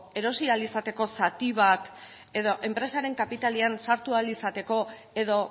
erosi ahal izateko zati bat edo enpresaren kapitalean sartu ahal izateko edo